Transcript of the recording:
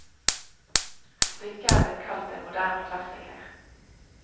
Stykket er blitt kalt en moderne klassiker.